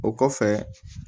O kɔfɛ